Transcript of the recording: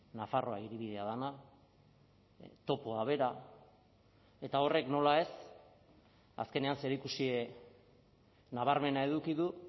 nafarroa hiribidea dena topoa bera eta horrek nola ez azkenean zerikusi nabarmena eduki du